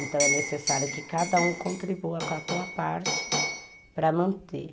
Então, é necessário que cada um contribua com a sua parte para manter.